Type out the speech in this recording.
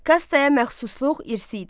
Kastaya məxsusluq irsi idi.